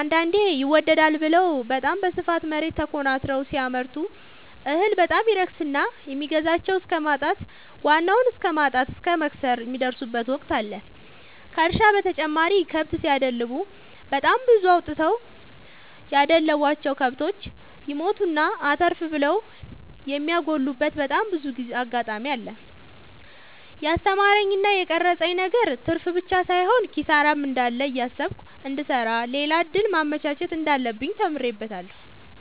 አንዳንዴ ይመደዳል ብለው በታም በስፋት መሬት ተኮናትረው ሲያመርቱ እህል በጣም ይረክስና የሚገዛቸው እስከማጣት ዋናውን እስከማት እስከ መክሰር የሚደርሱበት ወቅት አለ ከእርሻ በተጨማሪ ከብት ሲደልቡ በጣም ብዙ አውጥተው ያደለቡቸው። ከብቶች ይሞቱና አተርፍ ብለው የሚያጎሉበቴ በጣም ብዙ አጋጣሚ አለ። የስተማረኝ እና የቀረፀብኝ ነገር ትርፍብቻ ሳይሆን ኪሳራም እንዳለ እያሰብኩ እንድሰራ ሌላ እድል ማመቻቸት እንዳለብኝ ተምሬበታለሁ።